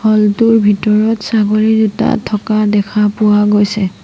হল টোৰ ভিতৰত ছাগলী দুটা থকা দেখা পোৱা গৈছে।